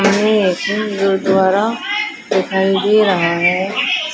हमें गुरुद्वारा दिखाई दे रहा है।